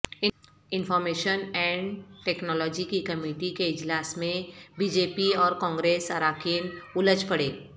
information and technology کی committee کے اجلاس میںبی جے پی اور کانگریس اراکین الجھ پڑے